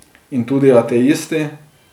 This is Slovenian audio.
In tudi ateisti.